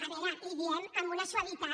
a veure li ho diem amb una suavitat